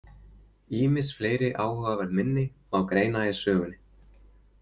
Ýmis fleiri áhugaverð minni má greina í sögunni.